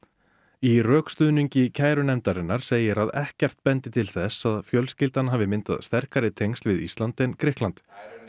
í rökstuðningi kærunefndarinnar segir að ekkert bendi til þess að fjölskyldan hafi myndað sterkari tengsl við Ísland en Grikkland